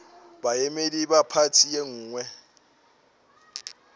baemedi ba phathi ye nngwe